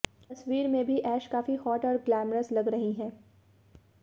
इस तस्वीर में भी ऐश काफी हॉट और ग्लैमरस लग रही हैं